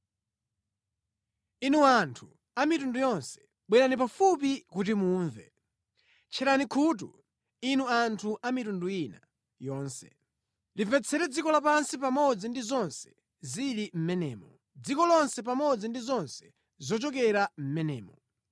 Inu anthu a mitundu yonse, bwerani pafupi kuti mumve: tcherani khutu, inu anthu a mitundu ina yonse: Limvetsere dziko lapansi pamodzi ndi zonse zili mʼmenemo, dziko lonse pamodzi ndi zonse zochokera mʼmenemo!